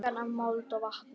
Angan af mold og vatni.